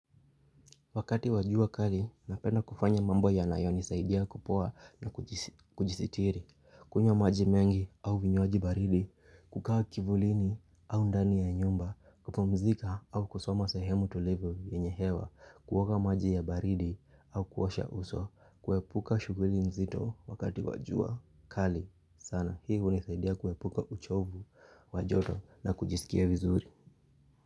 Wakati wajua kali, napena kufanya mambo ya nayo nisaidia kupua na kujisitiri, kunyo maji mengi au vinyoaji baridi, kukawa kivulini au ndani ya nyumba, kupumzika au kusoma sahemu tulivo yenyehewa, kuwaka maji ya baridi au kuwasha uso, kuwepuka shuguli nzito wakati wajua kali. Sana, hihu nisaidia kuwepuka uchovu, wajoto na kujisikia vizuri.